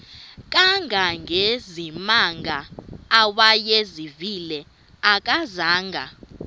kangangezimanga awayezivile akazanga